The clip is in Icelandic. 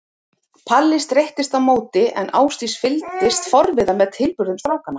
Palli streittist á móti en Ásdís fylgdist forviða með tilburðum strákanna.